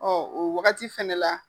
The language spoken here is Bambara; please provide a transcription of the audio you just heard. Ɔ o wagati fɛnɛ la